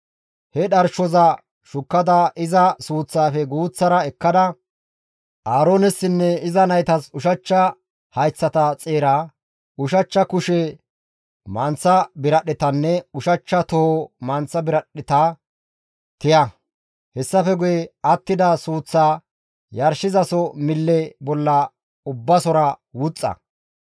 He dharshoza shukkada iza suuththaafe guuththara ekkada, Aaroonessinne iza naytas ushachcha hayththata xeera, ushachcha kushe manththa biradhdhetanne ushachcha toho manththa biradhdheta tiya; hessafe guye attida suuththaa yarshizaso mille bolla Ubbasora wuxxa.